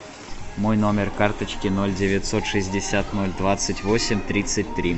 мой номер карточки ноль девятьсот шестьдесят ноль двадцать восемь тридцать три